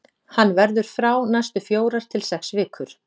Hann verður frá næstu fjórar til sex vikur.